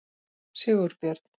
Sigurbjörn